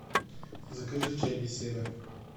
закажи чай беседа